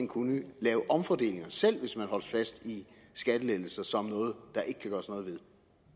kunne lave omfordelinger selv hvis man holdt fast i skattelettelser som noget der ikke kan gøres noget ved